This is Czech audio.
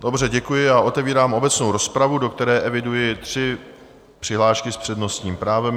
Dobře, děkuji a otevírám obecnou rozpravu, do které eviduji tři přihlášky s přednostním právem.